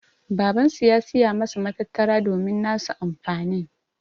Baban su ya Siya masu matattara domin nasu amfanin.